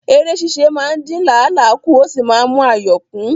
Ère ṣíṣe máa ń dín làálàá kù ó sì máa ń mú ayọ̀ kún